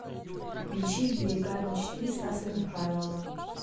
включи берега мечты стаса михайлова